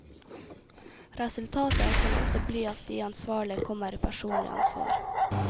Resultatet kan også bli at de ansvarlige kommer i personlig ansvar.